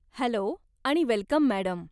Hello आणि welcome, madam.